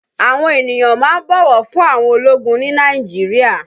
Àwọn ènìyàn máa ń bọ̀wọ̀ fún àwọn ológun ni Nàìjíríà